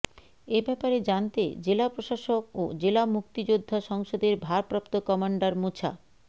এ ব্যাপারে জানতে জেলা প্রশাসক ও জেলা মুক্তিযোদ্ধা সংসদের ভারপ্রাপ্ত কমান্ডার মোছা